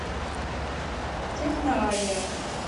техноавиа